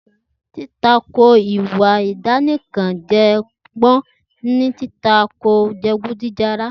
Ti tàkó ìwà àdá-nìkan-jọpọ́n ní tí tàkó ìwá jẹgúdùjẹrá.